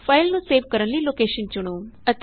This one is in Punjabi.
ਫਾਇਲ ਨੂੰ ਸੇਵ ਕਰਨ ਨਈ ਲੋਕੇਸ਼ਨ ਚੁਣੋਂ